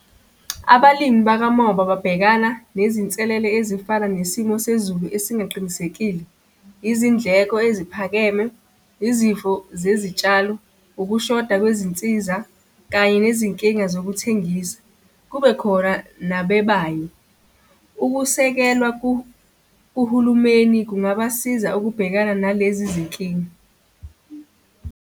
Abalimi bakamoba babhekana nezinselele ezifana nesimo sezulu esingaqinisekile, izindleko eziphakeme, izifo zezitshalo, ukushoda kwezinsiza, kanye nezinkinga zokuthengisa, kube khona nabebayo. Ukusekelwa kuhulumeni kungabasiza ukubhekana nalezi zinkinga.